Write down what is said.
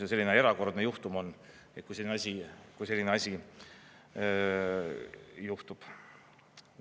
Ja selline erakordne juhtum on, kui selline asi juhtub.